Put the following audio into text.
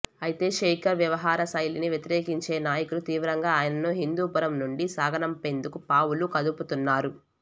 అయితే శేఖర్ వ్యవహరశైలిని వ్యతిరేకించే నాయకులు తీవ్రంగా ఆయనను హిందూపురం నుండి సాగనంపేందుకు పావులు కదుపుతున్నారు